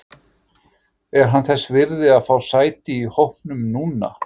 Er hann þess virði að fá sæti í hópnum núna?